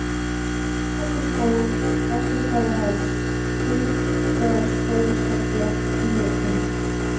Hellisból, Bassastaðaháls, Haukaskógshella, Giljakinn